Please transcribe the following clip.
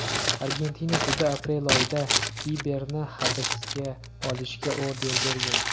Argentina sudi aprel oyida Biberni hibsga olishga order bergan .